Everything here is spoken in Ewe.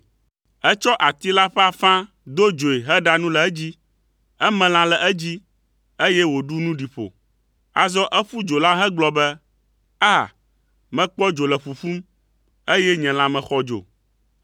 Etsɔ ati la ƒe afã do dzoe heɖa nu le edzi. Eme lã le edzi, eye wòɖu nu ɖi ƒo. Azɔ eƒu dzo la hegblɔ be: “Aa! Mekpɔ dzo le ƒuƒum, eye nye lãme xɔ dzo.”